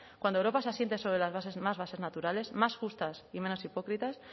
cuando europa se asiente sobre las bases más naturales más justas y menos hipócritas